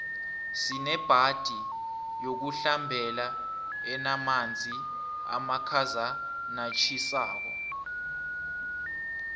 sinebhadi yokuhlambela enamanzi amakhazanatjhisako